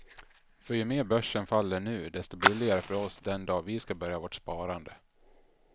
För ju mer börsen faller nu, desto billigare för oss den dag vi ska börja vårt sparande.